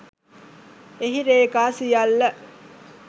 එහි රේඛා සියල්ල